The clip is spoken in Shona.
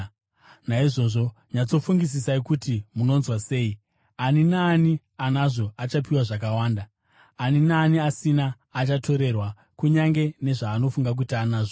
Naizvozvo nyatsofungisisai kuti munonzwa sei. Ani naani anazvo achapiwa zvakawanda, ani naani asina, achatorerwa kunyange nezvaanofunga kuti anazvo.”